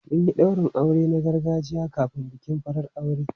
Mun yi daurin aure na gargajiya kafin bikin farar aure.